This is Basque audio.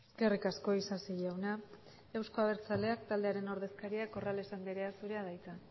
eskerrik asko isasi jauna eusko abertzaleak taldearen ordezkaria corrales andrea zurea da hitza